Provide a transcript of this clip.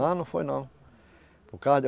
Ah, não foi, não. por causa de